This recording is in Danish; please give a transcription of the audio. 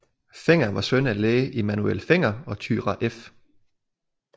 Fenger var søn af læge Immanuel Fenger og Thyra f